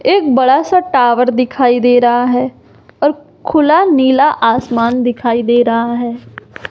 एक बड़ा सा टावर दिखाई दे रहा है और खुला नीला आसमान दिखाई दे रहा है।